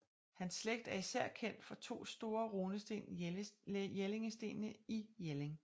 Hans slægt er især kendt fra de to store runesten Jellingstenene i Jelling